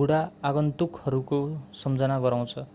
बुढा आगन्तुकहरूको सम्झना गराउँछ